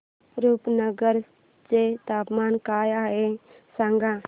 रुपनगर चे तापमान काय आहे सांगा